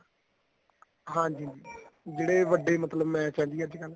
ਹਾਂਜੀ ਜਿਹੜੇ ਵੱਡੇ ਮਤਲਬ match ਏ ਜੀ ਅੱਜਕਲ